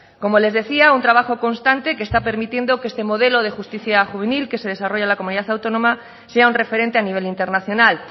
como les decía un trabajo constante que está permitiendo que este modelo de justicia juvenil que se desarrolla en la comunidad autónoma sea un referente a nivel internacional